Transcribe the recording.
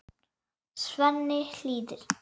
Svenni hlýðir.